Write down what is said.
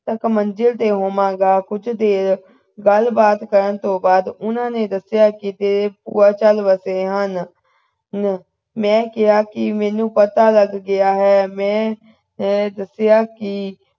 ਤੱਕ ਮੰਜ਼ਿਲ ਤੇ ਹੋਵੇਗਾ ਕੁਝ ਦੇਰ ਗੱਲਬਾਤ ਕਰਨ ਤੋਂ ਬਾਅਦ ਉਨ੍ਹਾਂ ਨੇ ਦੱਸਿਆ ਕਿ ਤੇਰੇ ਭੂਆਂ ਚੱਲ ਵਸੇ ਹਨ ਮੈਂ ਕਿਹਾ ਕਿ ਮੈਨੂੰ ਪਤਾ ਲੱਗ ਗਿਆ ਹੈ ਮੈਂ ਦੱਸਿਆ ਕਿ